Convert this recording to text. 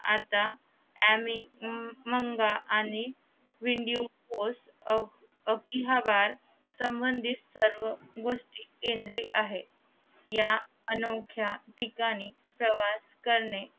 आता आमीमांग आणि व्हिडीओ पोस्ट संबंधीत सर्व गोष्ठ केंद्रित आहेत या अनोख्या ठिकाणी प्रवास करणे